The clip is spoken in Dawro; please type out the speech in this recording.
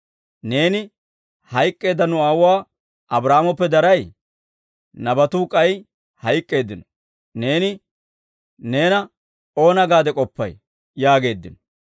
Neeni hayk'k'eedda nu aawuwaa Abraahaamoppe daray? Nabatuu k'ay hayk'k'eeddino. Neeni neena oona gaade k'oppay?» yaageeddino.